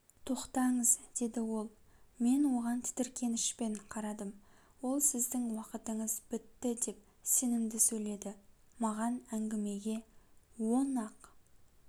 тоқтаңыз деді ол мен оған тітіркенішпен қарадым ол сіздің уақытыңыз біттідеп сенімді сөйледі маған әңгімеге он ақ